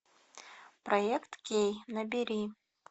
проект кей набери